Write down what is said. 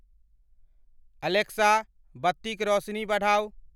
Alexa बत्तिक रौसनी बढ़ाऊ ।